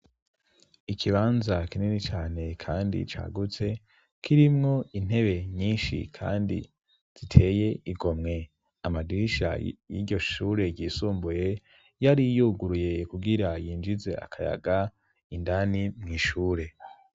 Ikibanza kinini cane kandi cagutse, kirimwo intebe nyinshi kandi ziteye igomwe. Amadirisha y'iryoshure yisumbuye, yari yuguruye kugira yinjize akayaga indani mw' ishure.